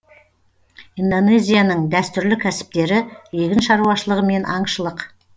индонезияның дәстүрлі кәсіптері егін шаруашылығы мен аңшылық